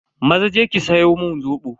Maza je ki siyo mun Zobo.